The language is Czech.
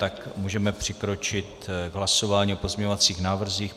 Tak můžeme přikročit k hlasování o pozměňovacích návrzích.